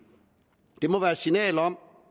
det må være et signal om